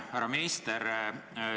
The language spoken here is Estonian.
Härra minister!